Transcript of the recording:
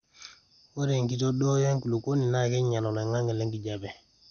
ore enkitodoyo enkulukuoni naa keinyal oloingangi le nkijape